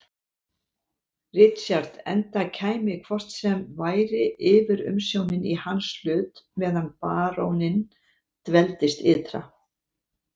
Richard enda kæmi hvort sem væri yfirumsjónin í hans hlut meðan baróninn dveldist ytra.